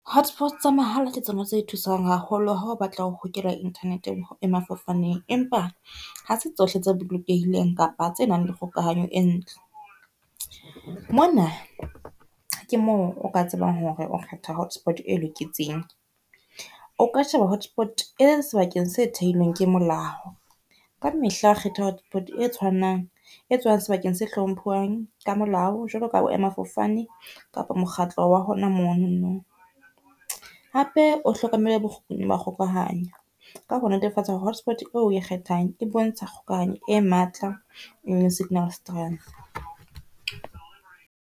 Hotspots tsa mahala ke tsona tse thusang haholo ha o batla ho hokela internet boema-fofaneng, empa ha se tsohle tse bolokehileng kapa tse nang le kgokahanyo e ntle. Mona ke moo o ka tsebang hore o kgetha hotspot e loketseng. O ka sheba hotspot e sebakeng se theilweng ke molao. Ka mehla kgetha hotspot e tshwanang, e tswang sebakeng se hlomphuwang ka molao, jwalo ka boema-fofane kapa mokgatlo wa hona mono no. Hape o hlokomele ma kgokahanyo ka ho netefatsa hotspot eo o e kgethang e bontsha kgokahanyo e matla le signal strength.